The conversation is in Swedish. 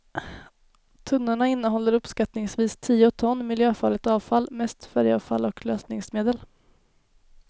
Tunnorna innehåller uppskattningsvis tio ton miljöfarligt avfall, mest färgavfall och lösningsmedel.